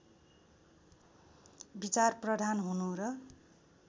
विचारप्रधान हुनु र